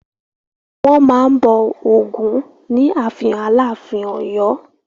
Wọ́n máa n bọ̀ Ògún ní ààfin Aláàfin Ọ̀yọ́